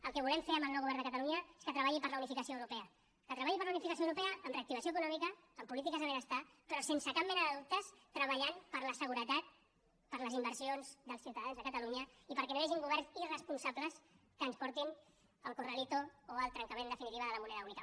el que volem fer amb el nou govern de catalunya és que treballi per la unificació europea que treballi per la unificació europea amb reactivació econòmica amb polítiques de benestar però sense cap mena de dubte treballant per la seguretat per les inversions dels ciutadans de catalunya i perquè no hi hagin governs irresponsables que ens portin al corralito o al trencament en definitiva de la moneda única